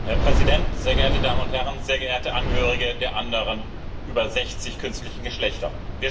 Herr Präsident, sehr geehrte Damen und Herren, sehr geehrte Angehörige der anderen über 60 künstlichen Geschlechter!